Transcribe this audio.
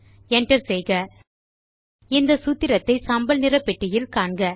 Enter செய்க இந்த சூத்திரத்தை சாம்பல் நிற பெட்டியில் காண்க